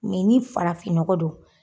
ni farafin nɔgɔ don.